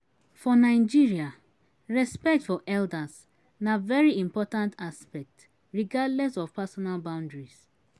For Nigeria, respect for elders na very important aspect regardless of personal boundaries